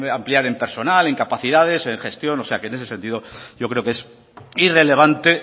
ampliar en personal en capacidades en gestión o sea que en ese sentido yo creo que es irrelevante